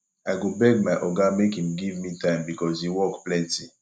i go beg my oga make im give me time because di work plenty